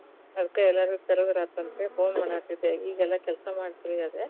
ಅದಕ ಎಲ್ಲಾರಗೂ ಕರದ್ರಾತಂತ ಅಂತ ಹೇಳಿ phone ಮಾಡಾತ್ತೀದ್ದೆ, ಈಗ ಎಲ್ಲಾ ಕೆಲಸಾ ಮಾಡಿ free ಆದೆ.